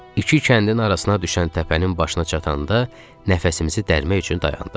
İki kəndin arasına düşən təpənin başına çatanda nəfəsimizi dərmək üçün dayandıq.